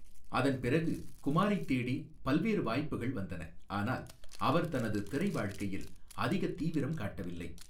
அதன் பிறகு, குமாரைத் தேடி பல்வேறு வாய்ப்புகள் வந்தன, ஆனால் அவர் தனது திரை வாழ்க்கையில் அதிகத் தீவிரம் காட்டவில்லை.